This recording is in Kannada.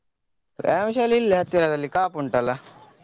ವ್ಯಾಯಾಮ ಶಾಲೆ ಇಲ್ಲೆ ಹತ್ತಿರದಲ್ಲಿ ಕಾಪು ಉಂಟಲ್ಲಾ?